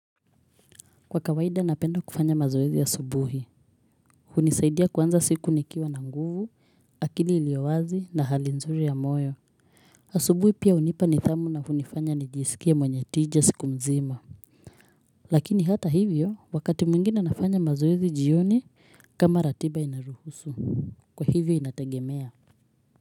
Kwa kawaida napenda kufanya mazoezi asubuhi, hunisaidia kuanza siku nikiwa na nguvu, akili iliyo wazi na hali nzuri ya moyo. Asubuhi pia hunipa nidhamu na hunifanya nijisikie mwenye tija siku nzima. Lakini hata hivyo, wakati mwingine nafanya mazoezi jioni kama ratiba inaruhusu. Kwa hivyo inategemea.